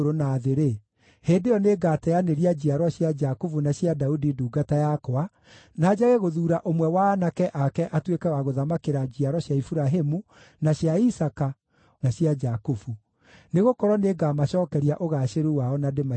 hĩndĩ ĩyo nĩngagĩteanĩria njiaro cia Jakubu na cia Daudi ndungata yakwa, na njage gũthuura ũmwe wa aanake ake atuĩke wa gũthamakĩra njiaro cia Iburahĩmu, na cia Isaaka, na cia Jakubu. Nĩgũkorwo nĩngamacookeria ũgaacĩru wao na ndĩmaiguĩre tha.’ ”